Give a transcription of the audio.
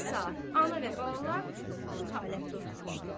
Düz iki saat ana və balalar bu halətdə oturmuşdular.